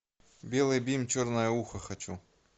белый бим черное ухо хочу